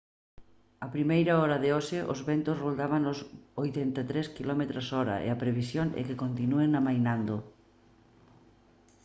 a primeira hora de hoxe os ventos roldaban os 83 km/h e a previsión é que continúen amainando